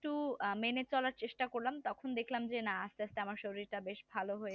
একটু মেনে চলার চেষ্টা করলাম তখন দেখলাম যে না আস্তে আস্তে আমার শরীরটা বেশ ভালো হয়ে উঠছে